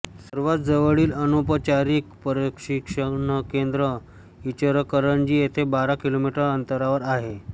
सर्वात जवळील अनौपचारिक प्रशिक्षणकेंद्र इचलकरंजी येथे बारा किलोमीटर अंतरावर आहे